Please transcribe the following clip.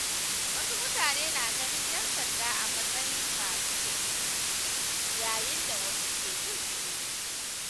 Wasu mutane na ganin ‘yan sanda a matsayin masu taimako, yayin da wasu ke jin tsoro.